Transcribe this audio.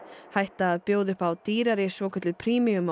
hætta að bjóða upp á dýrari svokölluð premium og